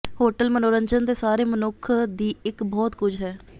hotel ਮਨੋਰੰਜਨ ਦੇ ਸਾਰੇ ਮਨੁੱਖ ਦੀ ਇੱਕ ਬਹੁਤ ਕੁਝ ਹੈ